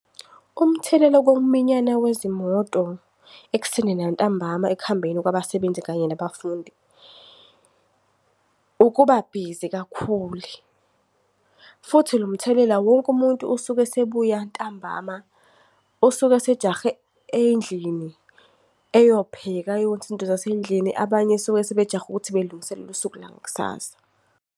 Umthelela wokuminyana wezimoto ekuseni nantambama ekuhambeni kwabasebenzi kanye nabafundi, ukuba busy kakhulu. Futhi lo mthelela wonke umuntu usuke esebuya ntambama, usuke sejahe endlini eyopheka, ayokwenza izinto zasendlini. Abanye suke sebejahe ukuthi belungiselele usuku langakusasa.